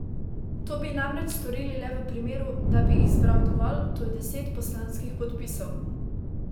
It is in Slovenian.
To bi namreč storil le v primeru, da bi jih zbral dovolj, to je deset poslanskih podpisov.